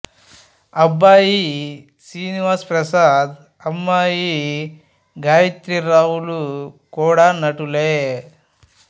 అబ్మాయి శ్రీనివాస్ ప్రసాద్ అమ్మాయి గాయత్రీరావు లు కూడా నటులే